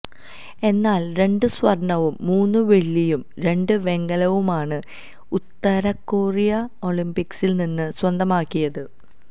എന്നാല് രണ്ട് സ്വര്ണ്ണവും മൂന്ന് വെള്ളിയും രണ്ട് വെങ്കലവുമാണ് ഉത്തര കൊറിയ ഒളിംപിക്സില് നിന്ന് സ്വന്തമാക്കിയത്